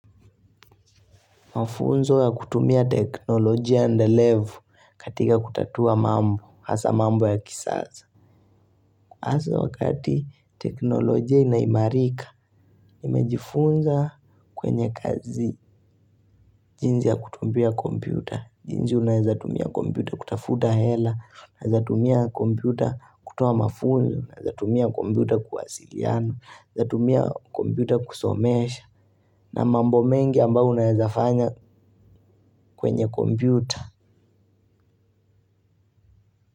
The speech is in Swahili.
Mafunzo ya kutumia teknolojia endelefu katika kutatua mambo, hasaa mambo ya kisasa. Hasa wakati teknolojia inaimarika, nimejifunza kwenye kazi jinsi ya kutumia kompyuta. Jinsi unaezatumia kompyuta kutafuta hela, naezatumia kompyuta kutoa mafunzo, naezatumia kompyuta kuwasiliana, naezatumia kompyuta kusomesha, na mambo mengi ambayo unaezafanya kwenye kompyuta.